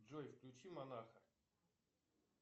джой включи монаха